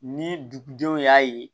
Ni dugudenw y'a ye